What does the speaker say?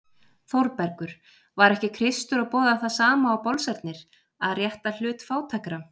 ÞÓRBERGUR: Var ekki Kristur að boða það sama og bolsarnir: að rétta hlut fátækra?